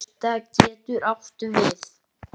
Bylta getur átt við